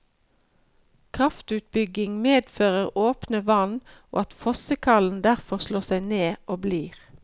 Kraftutbygging medfører åpne vann og at fossekallen derfor slår seg ned og blir.